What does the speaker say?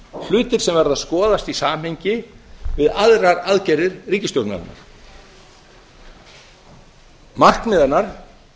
hlutir sem verða að skoðast í samhengi við aðrar aðgerðir ríkisstjórnarinnar markmið hennar er